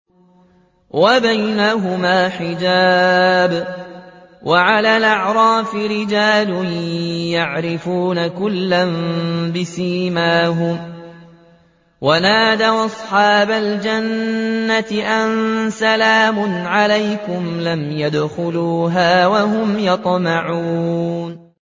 وَبَيْنَهُمَا حِجَابٌ ۚ وَعَلَى الْأَعْرَافِ رِجَالٌ يَعْرِفُونَ كُلًّا بِسِيمَاهُمْ ۚ وَنَادَوْا أَصْحَابَ الْجَنَّةِ أَن سَلَامٌ عَلَيْكُمْ ۚ لَمْ يَدْخُلُوهَا وَهُمْ يَطْمَعُونَ